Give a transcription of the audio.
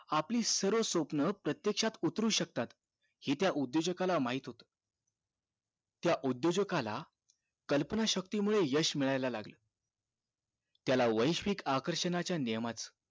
आपली सर्व स्वपन प्रत्येक्षात उतरू शकतात हि त्या उद्योजकाला माहित होत त्या उद्योजकाला कल्पना शक्तीमुळे यश मिळाला लागलं त्याला वैश्विक आकर्षाच्या नियमाचं